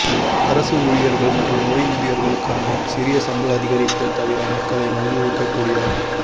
அரச ஊழியர்கள் மற்றும் ஓய்வூதியர்களுக்கான சிறிய சம்பள அதிகரிப்புத் தவிர மக்களை மகிழ்விக்கக் கூடிய